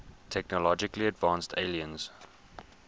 technologically advanced aliens